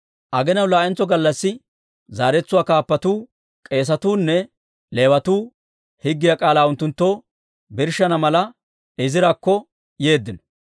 Aginaw laa'entso gallassi zaratuwaa kaappatuu, k'eesatuu nne Leewatuu higgiyaa k'aalaa unttunttoo birshshana mala, Izirakko yeeddino.